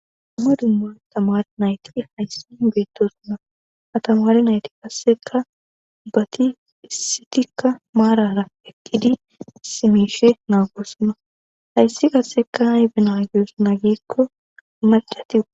amma dumma tamar nayti hayssi hibeettosunna atamari nayti kasseka bati issitikka maarara eqqidi simishe naagossunna hayssi qasseka haybenagusu na gikko macati